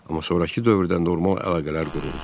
Amma sonrakı dövrdə normal əlaqələr quruldu.